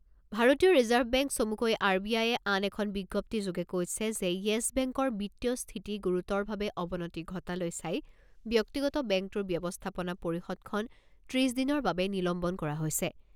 ভাৰতীয় reserve bank চমুকৈ R B I আন এখন বিজ্ঞপ্তিযোগে কৈছে যে য়েছ বেংকৰ বিত্তীয় স্থিতি গুৰুতৰভাৱে অৱনতি ঘটালৈ চাই ব্যক্তিগত বেংকটোৰ ব্যৱস্থাপনা পৰিষদখন ত্ৰিছ দিনৰ বাবে নিলম্বন কৰা হৈছে।